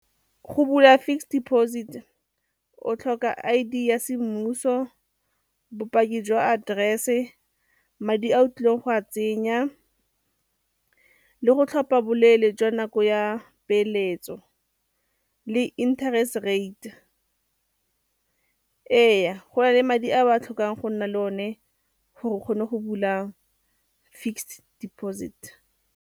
Go bula fixed deposit o tlhoka I_D ya semmuso, bopaki jwa aterese, madi a o tlileng go a tsenya, le go tlhopha boleele jwa nako ya peeletso le interest rate. Ee, go na le madi a ba a tlhokang go nna le one gore o kgone go bula fixed deposit.